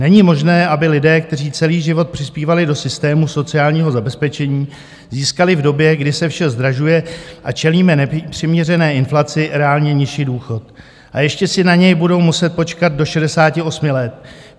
Není možné, aby lidé, kteří celý život přispívali do systému sociálního zabezpečení, získali v době, kdy se vše zdražuje a čelíme nepřiměřené inflaci, reálně nižší důchod, a ještě si na něj budou muset počkat do 68 let.